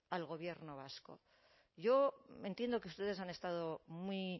al gobierno vasco yo entiendo que ustedes han estado muy